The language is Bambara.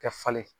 Ka falen